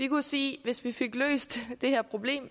kunne sige at hvis vi fik løst det her problem og